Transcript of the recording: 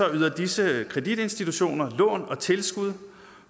yder disse kreditinstitutioner lån og tilskud